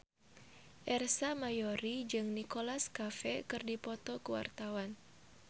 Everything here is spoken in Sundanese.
Ersa Mayori jeung Nicholas Cafe keur dipoto ku wartawan